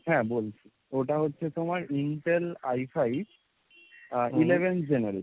হ্যাঁ বলছি, ওটা হচ্ছে তোমার intel I fife, আহ eleventh generation।